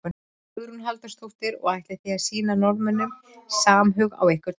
Hugrún Halldórsdóttir: Og ætlið þið að sýna Norðmönnum samhug á einhvern hátt?